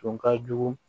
Tun ka jugu